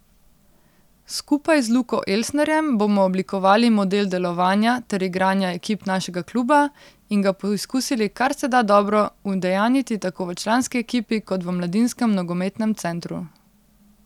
Skupaj z Luko Elsnerjem bomo oblikovali model delovanja ter igranja ekip našega kluba in ga poizkusili kar se da dobro udejanjiti tako v članski ekipi kot v mladinskem nogometnem centru.